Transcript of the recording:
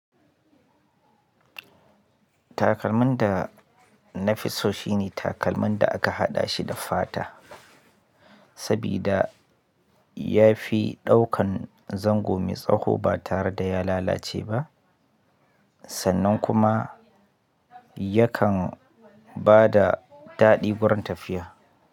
Takalmin da na fi so shine takalmin da aka haɗa shi da fata, saboda ya fi ɗaukan zango mai tsawo ba tare da ya lalace ba, sannan kuma yakan ba da daɗi wurin tafiya.